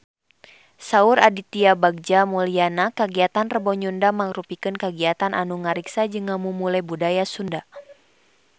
Saur Aditya Bagja Mulyana kagiatan Rebo Nyunda mangrupikeun kagiatan anu ngariksa jeung ngamumule budaya Sunda